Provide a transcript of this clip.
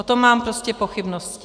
O tom mám prostě pochybnosti.